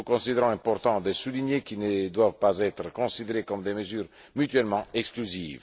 Nous considérons important de souligner qu'ils ne doivent pas être considérés comme des mesures mutuellement exclusives.